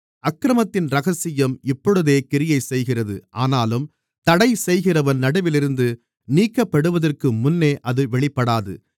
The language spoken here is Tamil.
அக்கிரமத்தின் இரகசியம் இப்பொழுதே கிரியைசெய்கிறது ஆனாலும் தடைசெய்கிறவன் நடுவிலிருந்து நீக்கப்படுவதற்குமுன்னே அது வெளிப்படாது